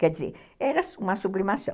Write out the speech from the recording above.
Quer dizer, era uma sublimação.